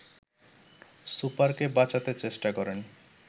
সুপারকে বাঁচাতে চেষ্টা করেন